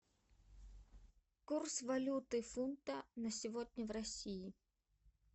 курс валюты фунта на сегодня в россии